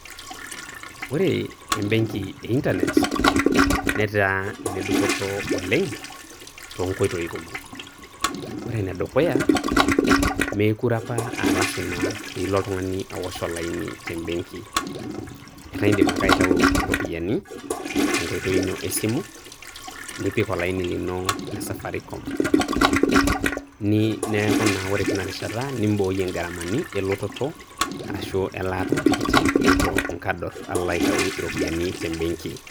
ore ebenki e internet netaa ene dupoto oleng too nkoitoi kumok, ore ene dukuya, meekure apa aa lasima pee ilo oltungani aosh olaini te benki. ata idim ake aitau iropiyiani tenkoitoi ino e simu ,nipik olaini lino le safaricom. neeku naa ore teina rishata ni ooyie i gharamani oo nkador Niko aitayu iropiyiani te benki.